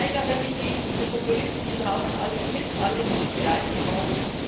Ich wehre mich gegen diese Populisten, die behaupten, alles sei Mist, es sei nichts geleistet worden.